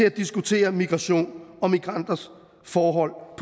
at diskutere migration og migranters forhold og